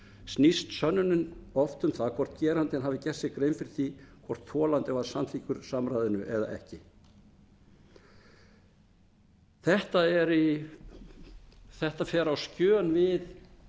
snýst sönnunin oft um það hvort gerandinn hafi gert sér grein fyrir því hvort þolandi var samþykkur samræðinu eða ekki þetta fer á skjön við